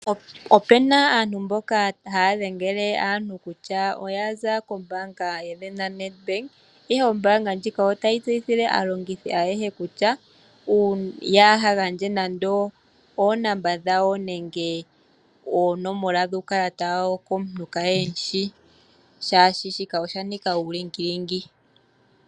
Opena aantu mboka haya dhengele aantu kutya oya za kombaanga yaNEDBANK ihe ombaanga ndjika otayi tseyithile aalongithi ayehe kutya ya ha gandje nando oonomola dhawo nenge oonomola dhuu kalata wa wo komuntu kaye hemushi shaashika osha nika uulingilingi .